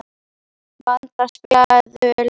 Vanda, spilaðu lag.